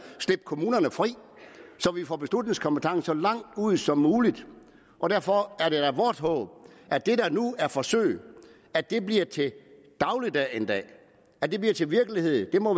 slip kommunerne fri så vi får beslutningskompetencen så langt ud som muligt derfor er det da vort håb at det der nu er et forsøg bliver til dagligdag en dag bliver til virkelighed det må